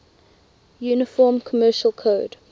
uniform commercial code